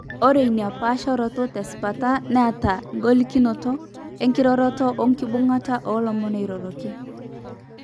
Ore inapaasharoto tesipata neeta ingolikinot enkiroroto oenkibung'ata oolomon oiroroki.